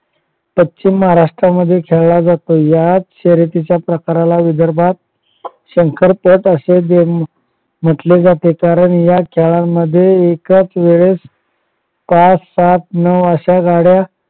पश्चिम महाराष्ट्रामध्ये खेळाला जातो. ह्याच शर्यतीच्या प्रकाराला विदर्भात संकरपद असे देखील म्हंटले जाते. कारण या खेळांमध्ये एकाच वेळेस पाच सात नऊ अश्या गाड्या